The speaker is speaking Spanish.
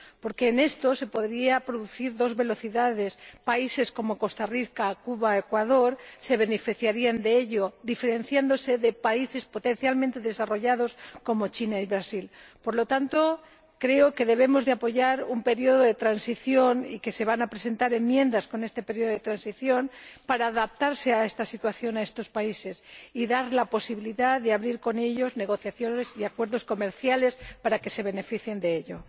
Porque en esto se podrían producir dos velocidades países como Costa Rica, Cuba y Ecuador se beneficiarían de ello, diferenciándose de países potencialmente desarrollados como China y Brasil. Por lo tanto, creo que debemos apoyar un periodo de transición, y que se van a presentar enmiendas en este periodo de transición para adaptarse a esta situación, a estos países, y dar la posibilidad de abrir con ellos negociaciones y acuerdos comerciales para que se beneficien de ello.